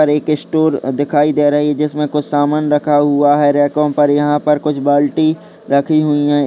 एक स्टोर दिखाई दे रही है जिसमें कुछ सामान रखा हुआ है रैकों पर। यहां पर कुछ बाल्टी रखी हुई हैं।